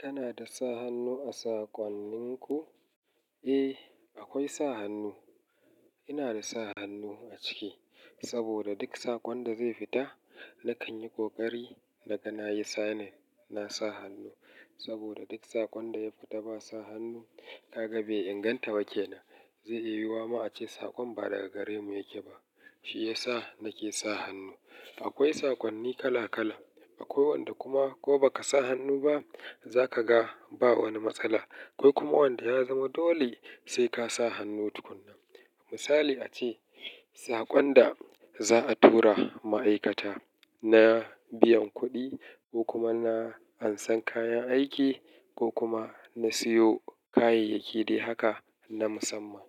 Kana da sa hannu a saƙonnin ku? Eh, akwai sa hannu. Ina da sa hannu a ciki saboda duk saƙon da zai fita nakan yi ƙoƙari na ga na yi signing, na sa hannu. Saboda duk saƙon da ya fita ba sa hannu, ka ga bai inganta ba ke nan. Zai iya yiwu wa ma a ce saƙon ba daga gare mu yake ba. Shi ya sa nake sa hannu. Akwai saƙonni kala kala. Akwai wanda kuma ko baka sa hannu ba zakaga ba wani matsala. Akwai kuma wanda ya zama dole sai ka sa hannu tukuna. Misali ace saƙon da za'a tura ma'aikata na biyan kuɗi ko kuma na ansan kayan aiki ko kuma na siyo kayayyaki dai haka na musamman.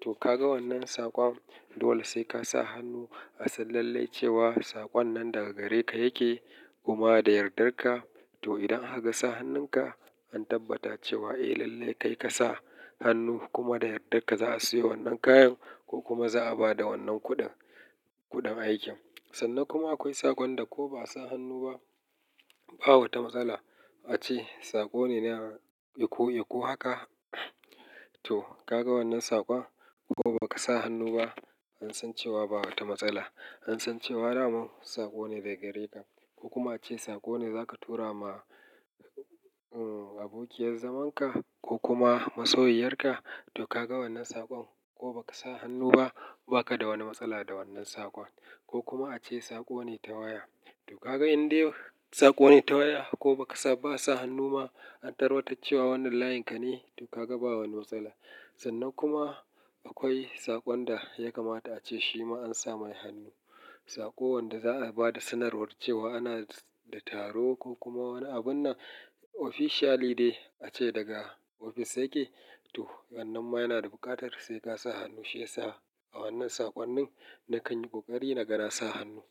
To kaga wannan saƙon dole sai ka sa hannu a san lallai cewa saƙon nan daga gare ka yake kuma da yardar ka. To idan aka ga sa hannun ka an tabbata cewa eh lallai kai ka sa hannu kuma da yardar ka za'a sayo wannan kayan ko kuma za'a bada wannan kuɗin, kuɗin aikin. Sannan kuma akwai saƙon da ko ba sa hannu ba, ba wata matsala. Ace saƙo ne na iko-iko haka. To kaga wannan saƙon ko baka sa hannu ba an san cewa ba wata matsala. An san cewa dama saƙo ne daga gare ka. Ko kuma ace saƙo ne za ka tura ma, uh, abokiyan zaman ka ko kuma masoyiyar ka. To kaga wannan saƙon ko baka sa hannu ba baka da wani matsala da wannan saƙon. Ko kuma ace saƙo ne ta waya. To kaga in dai saƙo ne ta waya ko baka sa, ba sa hannu ma an tabbatar da cewa wannan layin ka ne to ka ga ba wani matsala. Sannan kuma akwai saƙon da ya kamata a ce shi ma an sa mai hannu. Saƙo wanda za'a bada sanarwar cewa ana da taro ko kuma wani abun na officially dai ace daga ofis yake. To wannan ma yana da buƙatar sai ka sa hannu. Shi ya sa a wannan saƙonnin nakan yi ƙoƙari na ga na sa hannu.